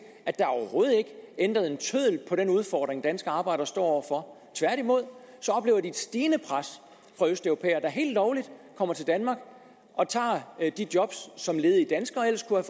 at der overhovedet ikke er ændret en tøddel på den udfordring som danske arbejdere står over for tværtimod oplever de et stigende pres fra østeuropæere der helt lovligt kommer til danmark og tager de job som ledige danskere ellers kunne